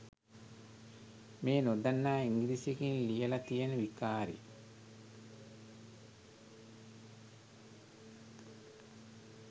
මේ නොදන්න ඉංග්‍රීසියකින් ලියල තියන විකාරෙ?